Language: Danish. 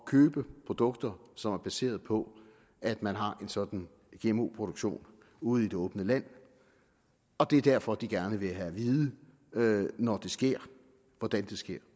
købe produkter som er baseret på at man har en sådan gmo produktion ude i det åbne land og det er derfor de gerne vil have det at vide når det sker og hvordan det sker